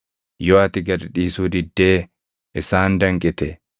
Yoo ati gad dhiisuu diddee isaan danqite,